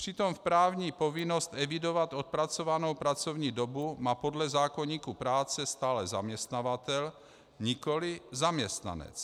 Přitom právní povinnost evidovat odpracovanou pracovní dobu má podle zákoníku práce stále zaměstnavatel, nikoli zaměstnanec.